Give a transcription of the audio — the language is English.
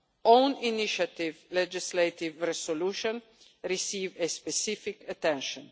Own initiative legislative resolutions receive a specific attention.